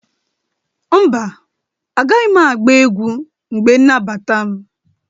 mba, Agaghị m agba egwu mgbe nmabata m.